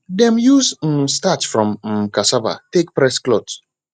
dem use um starch from um cassava take press cloth